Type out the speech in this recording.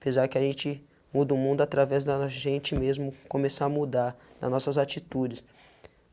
Pesar que a gente muda o mundo através da gente mesmo começar a mudar nas nossas atitudes.